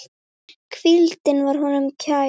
Hvíldin var honum kær.